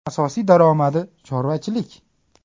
Asosiy daromadi chorvachilik.